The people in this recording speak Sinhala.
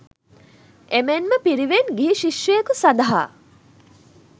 එමෙන්ම පිරිවෙන් ගිහි ශිෂ්‍යයකු සඳහා